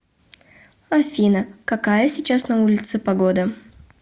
афина какая сейчас на улице погода